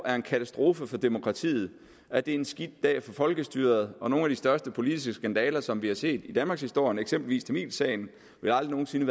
er en katastrofe for demokratiet at det er en skidt dag for folkestyret og at nogle af de største politiske skandaler som vi har set i danmarkshistorien eksempelvis tamilsagen aldrig nogen sinde